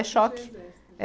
É choque. Exército